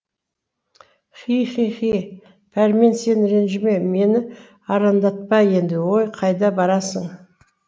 хи хи хи пәрмен сен ренжіме мені арандатпа енді өй қайда барасың